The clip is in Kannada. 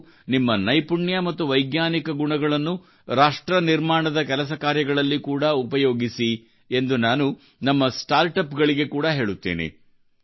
ನೀವು ನಿಮ್ಮ ನೈಪುಣ್ಯ ಮತ್ತು ವೈಜ್ಞಾನಿಕ ಗುಣಗಳನ್ನು ರಾಷ್ಟ್ರ ನಿರ್ಮಾಣದ ಕೆಲಸ ಕಾರ್ಯಗಳಲ್ಲಿ ಕೂಡಾ ಉಪಯೋಗಿಸಿ ಎಂದು ನಾನು ನಮ್ಮ ಸ್ಟಾರ್ಟ್ ಅಪ್ ಗಳಿಗೆ ಕೂಡಾ ಹೇಳುತ್ತೇನೆ